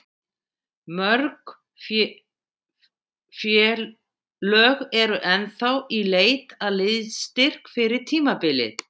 Mörg félög eru ennþá í leit að liðsstyrk fyrir tímabilið.